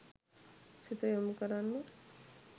සිත යොමු කරන්න.